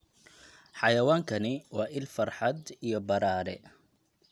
Xayawaankani waa il farxad iyo badhaadhe.